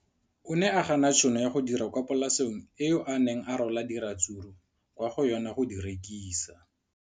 O ne a gana tšhono ya go dira kwa polaseng eo a neng rwala diratsuru kwa go yona go di rekisa.